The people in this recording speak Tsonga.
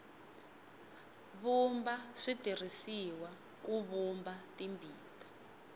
vumba byi tirhisiwa ku vumba timbita